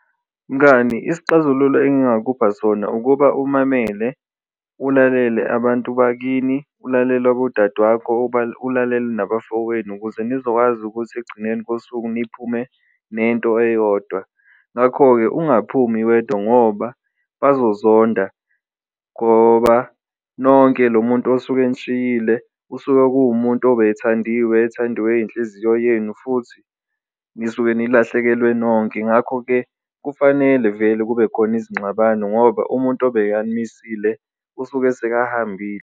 Mngani isixazululo engingakupha sona ukuba umamele ulalele abantu bakini, ulalele abodade wakho, ulalele nabafowenu ukuze nizokwazi ukuthi ekugcineni kosuku niphume nento eyodwa, ngakho-ke ungaphumi wedwa ngoba bazozonda ngoba nonke lo muntu osuke enishiyile usuke kuwumuntu bethandiwe. Ethandiwe yinhliziyo yenu futhi nisuke nilahlekelwe nonke ngakho-ke, kufanele vele kubekhona izingxabano ngoba umuntu obekanimisile usuke sekahambile.